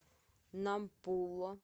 нампула